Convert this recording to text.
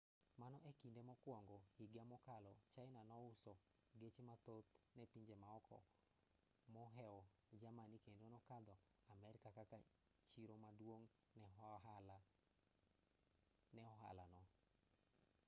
mano e kinde mokwongo higa mokalo china nouso geche mathoth ne pinje maoko moheo germany kendo nokadho amerka kaka chiro maduong' ne ohala no